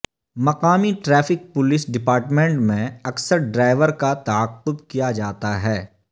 مقامی traffic police department میں اکثر ڈرائیور کا تعاقب کیا جاتا ہے